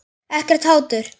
Ekkert hatur.